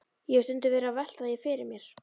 Ég hef stundum verið að velta því fyrir mér.